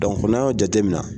Dɔnki n'a y'o jate mina